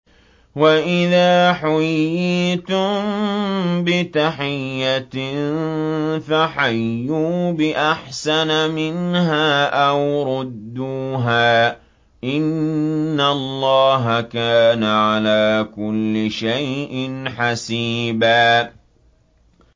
وَإِذَا حُيِّيتُم بِتَحِيَّةٍ فَحَيُّوا بِأَحْسَنَ مِنْهَا أَوْ رُدُّوهَا ۗ إِنَّ اللَّهَ كَانَ عَلَىٰ كُلِّ شَيْءٍ حَسِيبًا